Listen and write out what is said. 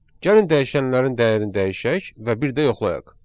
Gəlin dəyişənlərin dəyərini dəyişək və bir də yoxlayaq.